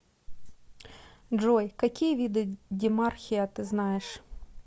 джой какие виды демархия ты знаешь